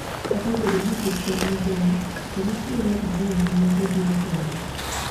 Kata obedo ni pith jamni ber, to nitiere andong'e ma obiro godo